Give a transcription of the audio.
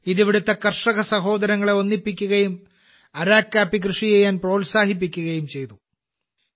ഇത് ഇവിടുത്തെ കർഷക സഹോദരങ്ങളെ ഒന്നിപ്പിക്കുകയും അരക്കു കാപ്പി കൃഷി ചെയ്യാൻ പ്രോത്സാഹിപ്പിക്കുകയും ചെയ്തു